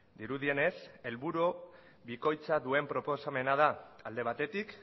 dirudienez helburu bikoitza duen proposamena da alde batetik